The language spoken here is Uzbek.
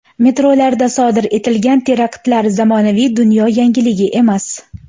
Metrolarda sodir etilgan teraktlar zamonaviy dunyo yangiligi emas.